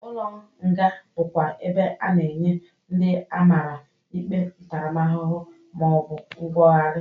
Ụlọ nga bụkwa ebe a na-enye ndị amara ikpe ntaramahụhụ, ma ọ bụ nwogari.